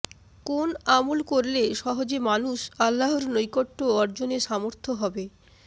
কোন আমল করলে সহজে মানুষ আল্লাহর নৈকট্য অর্জনে সামর্থ্য হবে